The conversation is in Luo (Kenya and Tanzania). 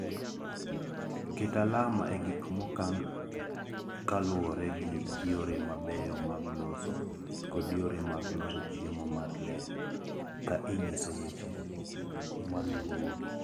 Ket alama e gik mokan kaluwore gi yore mabeyo mag loso (GMP) kod yore mag loso chiemo mar le, ka inyiso weche maluwogi: